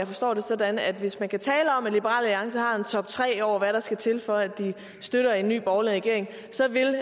forstå det sådan at hvis man kan tale om at liberal alliance har en toptre over hvad der skal til for at de støtter en ny borgerlig regering så vil